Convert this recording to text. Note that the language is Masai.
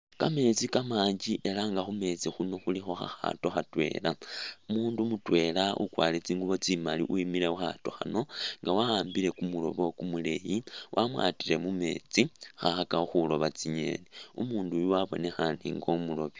Kameetsi kamanji elah nga khumeetsi khuuno khulikho khakhato khatwela, umundu mutwela ukwarile tsingubo tsimaali wemile khukhato khano nga wa'ambile kumulobo kumuleyi wamwatile mumeetsi khakhakakho khuloba tsi'ngeni, umunduyu wabonekhane nga umuloobi